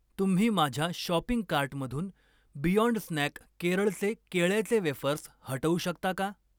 तुम्ही माझ्या शॉपिंग कार्टमधून बियाँड स्नॅक केरळचे केळ्याचे वेफर्स हटवू शकता का